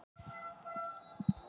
Fær annað tækifæri